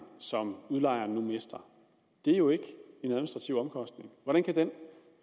som udlejerne nu mister er jo ikke en administrativ omkostning hvordan kan den